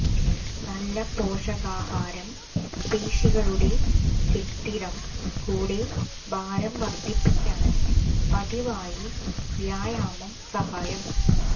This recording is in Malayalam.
നല്ല പോഷകാഹാരം പേശികളുടെ കെട്ടിടം കൂടെ ഭാരം വർദ്ധിപ്പിക്കാൻ പതിവായി വ്യായാമം സഹായം